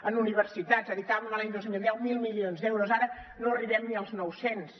en universitats dedicàvem l’any dos mil deu mil milions d’euros ara no arribem ni als nou cents